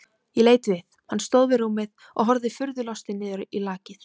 Ég leit við, hann stóð við rúmið og horfði furðu lostinn niður í lakið.